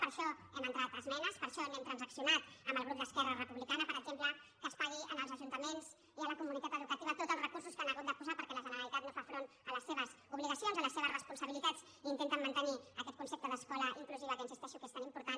per això hem entrat esmenes per això n’hem transaccionat amb el grup d’esquerra republicana per exemple que es pagui als ajuntaments i a la comunitat educativa tots els recursos que han hagut de posar perquè la generalitat no fa front a les seves obligacions a les seves responsabilitats i intenten mantenir aquest concepte d’escola inclusiva que insisteixo que és tan important